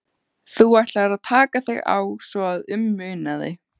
Þú ætlaðir að taka þig á svo að um munaði.